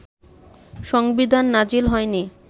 সংবিধান নাজিল হয়নি